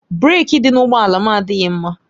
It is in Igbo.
Breeki dị n'ụgbọ ala m adịghị mma